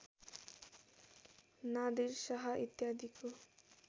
नादिर शाह इत्यादिको